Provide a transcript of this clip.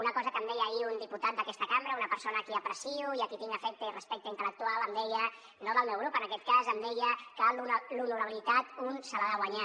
una cosa que em deia ahir un diputat d’aquesta cambra una persona a qui aprecio i a qui tinc afecte i respecte intel·lectual em deia no del meu grup en aquest cas que l’honorabilitat un se l’ha de guanyar